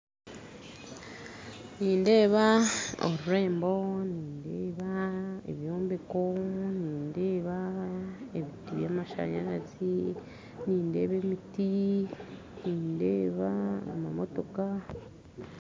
Nindeeba orurembo nindeeba ebyombeko nindeeba ebiti by'amashanyarazi nindeeba emiti nindeeba amamotooka